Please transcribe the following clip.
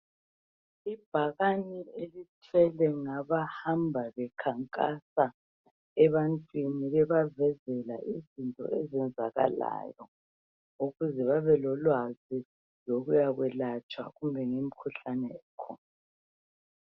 Ibhakane elithwelwe ngabahamba bekhankasa, ebantwini. Bebavezela izinto ezenzakalayo. Ukuze babelolwazi, lokuyakwelatshwa kumikhuhlane ekhona.